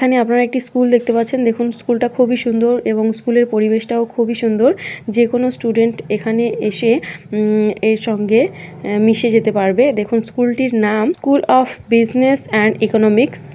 এখানে আপনার একটি স্কুল দেখতে পাচ্ছেন দেখুন স্কুল টা খুবই সুন্দর এবং স্কুল এর পরিবেশটাও খুবই সুন্দর যে কোন স্টুডেন্ট এখানে এসে উম এর সঙ্গে মিশে যেতে পারবে দেখুন স্কুল টির নাম school of business and economics.